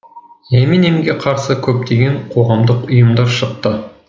эминемге қарсы көптеген қоғамдық ұйымдар шықты